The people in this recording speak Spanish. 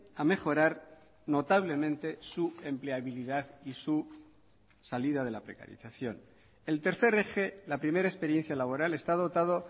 a mejorar notablemente su empleabilidad y su salida de la precarización el tercer eje la primera experiencia laboral está dotado